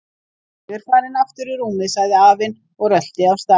Ég er farinn aftur í rúmið sagði afinn og rölti af stað.